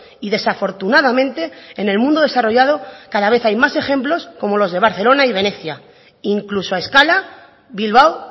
y desafortunadamente en el mundo desarrollado cada vez hay más ejemplos como los de barcelona y venecia incluso a escala bilbao